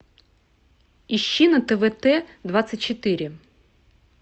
ищи на твт двадцать четыре